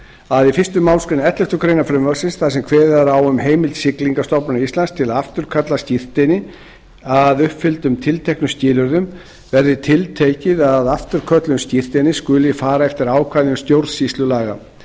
að í fyrstu málsgrein elleftu greinar frumvarpsins þar sem kveðið er á um heimild siglingastofnunar íslands til að afturkalla skírteini að uppfylltum tilteknum skilyrðum verði tiltekið að við afturköllun skírteinis skuli fara eftir ákvæðum stjórnsýslulaga